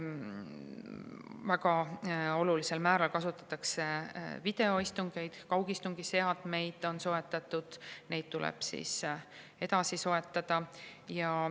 Väga olulisel määral kasutatakse videoistungeid, kaugistungiseadmeid on soetatud ja neid tuleb edasi soetada.